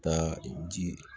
Taa ji